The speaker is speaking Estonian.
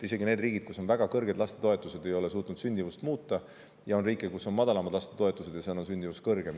Isegi need riigid, kus on väga kõrged lastetoetused, ei ole suutnud sündimust kasvatada, ja on ka riike, kus on madalamad lastetoetused, aga sündimus on just suurem.